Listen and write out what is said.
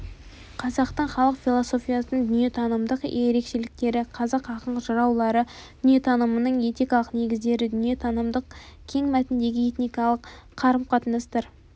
қазақтың халық философиясының дүниетанымдық ерекшеліктері қазақ ақын-жыраулары дүниетанымының этикалық негіздері дүниетанымдық кең мәтіндегі этикалық қарым-қатынастар